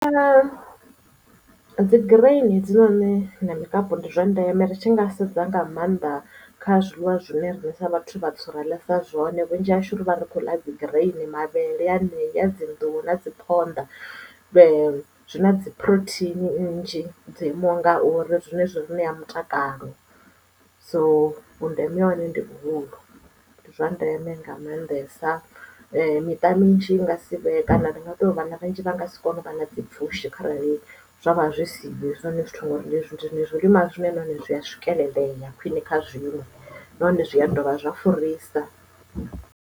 Dzi grain he dzinoni na mikapu ndi zwa ndeme ri tshi nga sedza nga maanḓa kha zwiḽiwa zwine riṋe sa vhathu vhatswu ra ḽesa zwone vhunzhi hashu ri vha ri khou ḽa dzi grain mavhele anea dzi nḓuhu na dzi phonḓa dzi na dzi phurotheini nnzhi dzo imaho ngauri zwine zwi re na mutakalo so vhundeme hahone ndi vhuhulu ndi zwa ndeme nga maandesa miṱa minzhi i nga si vhe kana ndi nga to vhana vhanzhi vha nga si kone u vha na dzi pfushi kharali zwa vha zwi siho hezwinoni zwithu ngauri zwilinwa zwine nahone zwi ya swikelele ya khwine kha zwiḽiwa nahone zwi a dovha zwa furisa.